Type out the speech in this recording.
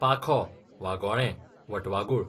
पाखो, वागोळें, वटवागूळ